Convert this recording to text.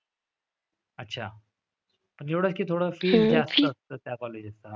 अच्छा. एवढं की थोडं fee जास्त असतं त्या colleges चा.